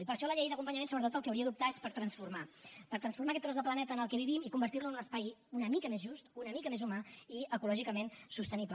i per això la llei d’acompanyament sobretot pel que hauria d’optar és per transformar per transformar aquest tros de planeta en què vivim i convertir lo en un espai una mica més just una mica més humà i ecològicament sostenible